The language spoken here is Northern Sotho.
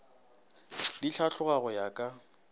di hlatloga go ya ka